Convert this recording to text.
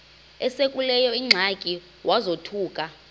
esekuleyo ingxaki wazothuka